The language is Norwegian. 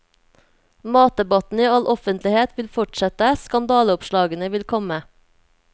Matdebatten i all offentlighet vil fortsette, skandaleoppslagene vil komme.